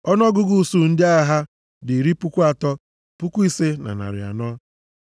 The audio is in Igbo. Ọnụọgụgụ usuu ndị agha ha dị iri puku atọ, puku ise na narị anọ (35,400).